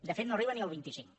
de fet no arriba ni al vint cinc